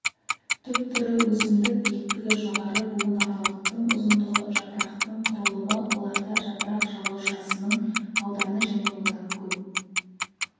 түп түрі өсімдік биіктігі жоғары буынаралықтың ұзындығы жапырақтың құрылымы оларда жапырақ жалаушасының ауданы және одан көп